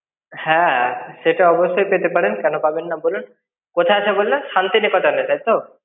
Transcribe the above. হ্যাঁ, সেটা অবশ্যই পেতে পারেন কেন পাবেন না বলুন? কোথায় আছে বললে, শান্তিনিকেতনে তাই তো?